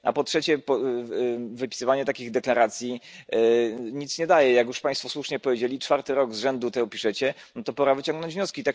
A po trzecie, wypisywanie takich deklaracji nic nie daje. Jak już Państwo słusznie powiedzieli, czwarty rok z rzędu to piszecie, no to pora wyciągnąć wnioski.